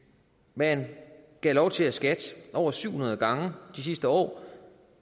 man gav lov til at skat over syv hundrede gange de sidste år